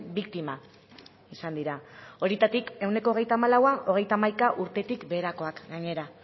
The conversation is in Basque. biktima izan dira horietatik ehuneko hogeita hamalaua hogeita hamaika urtetik beherakoak gainera